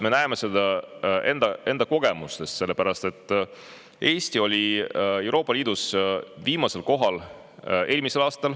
Me näeme seda enda kogemustest: Eesti oli Euroopa Liidus eelmisel aastal viimasel kohal.